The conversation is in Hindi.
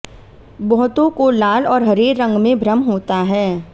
बहुतों को लाल और हरे रंग में भ्रम होता है